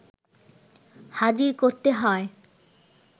হাজির করতে হয়